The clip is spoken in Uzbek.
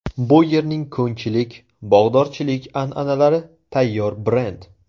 Bu yerning ko‘nchilik, bog‘dorchilik an’analari tayyor brend.